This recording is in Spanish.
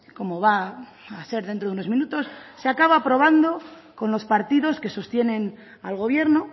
como va a ser dentro de unos minutos se acaba aprobando con los partidos que sostienen al gobierno